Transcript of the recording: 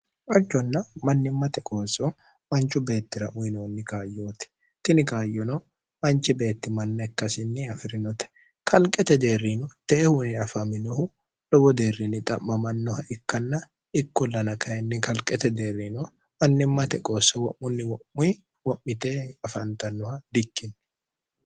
hajconna mannimmate qoosso manchu beettira uyinoonni kaayyooti tini kaayyono manchi beettimanna ikkasinni afi'rinote kalqete jeerriino teehuni afaminohu lowo deerriinni xa'mamannoha ikkanna ikkullana kayinni kalqete deerriino mannimmate qoosso wo'munni wo'muy wo'mite afantannoha di ikkinni